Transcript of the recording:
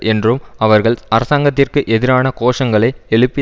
என்றும் அவர்கள் அரசாங்கத்திற்கு எதிரான கோஷங்களை எழுப்பி